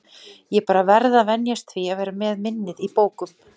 Ég bara verð að venjast því að vera með minnið í bókum.